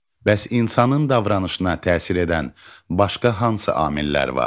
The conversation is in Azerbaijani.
Bəs insanın davranışına təsir edən başqa hansı amillər var?